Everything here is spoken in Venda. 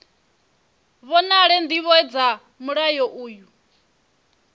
vhonale ndivho dza mulayo uyu